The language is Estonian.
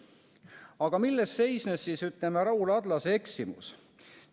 Aga milles seisnes Raul Adlase eksimus?